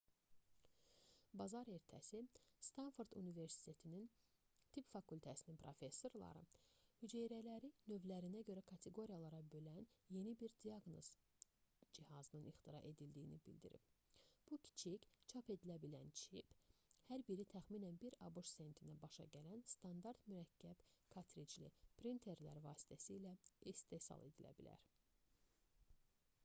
bazar ertəsi stanford universitetinin tibb fakültəsinin professorları hüceyrələri növlərinə görə kateqoriyalara bölən yeni bir diaqnoz cihazının ixtira edildiyini bildirib bu kiçik çap edilə bilən çip hər biri təxminən 1 abş sentinə başa gələn standart mürəkkəb kartricli printerlər vasitəsilə istehsal edilə bilər